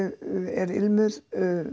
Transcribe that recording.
er ilmur